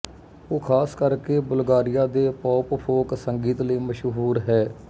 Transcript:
ਉਹ ਖ਼ਾਸ ਕਰਕੇ ਬੁਲਗਾਰੀਆ ਦੇ ਪੌਪਫੋਕ ਸੰਗੀਤ ਲਈ ਮਸ਼ਹੂਰ ਹੈ